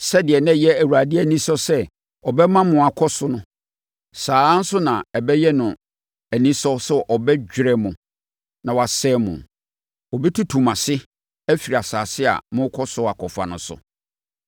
Sɛdeɛ na ɛyɛ Awurade anisɔ sɛ ɔbɛma mo akɔ so no, saa ara nso na ɛbɛyɛ no anisɔ sɛ ɔbɛdwerɛ mo na wasɛe mo. Ɔbɛtutu mo ase afiri asase a morekɔ so akɔfa no so.